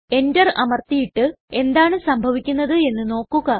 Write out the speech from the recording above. Enter അമർത്തിയിട്ട് എന്താണ് സംഭവിക്കുന്നത് എന്ന് നോക്കുക